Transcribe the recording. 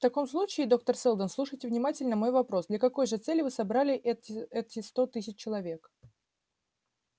в таком случае доктор сэлдон слушайте внимательно мой вопрос для какой же цели вы собрали эти эти сто тысяч человек